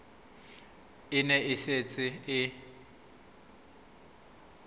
e ne e setse e